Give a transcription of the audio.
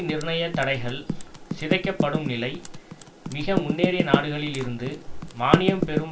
நிர்ணய தடைகள் சிதைக்கப்படும்நிலை மிக முன்னேறிய நாடுகளில் இருந்து மானியம்பெறும்